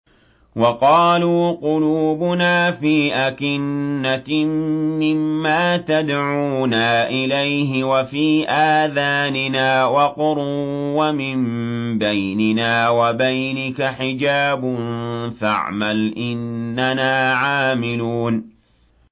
وَقَالُوا قُلُوبُنَا فِي أَكِنَّةٍ مِّمَّا تَدْعُونَا إِلَيْهِ وَفِي آذَانِنَا وَقْرٌ وَمِن بَيْنِنَا وَبَيْنِكَ حِجَابٌ فَاعْمَلْ إِنَّنَا عَامِلُونَ